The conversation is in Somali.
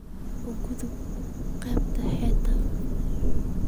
u gudub qaybta xigta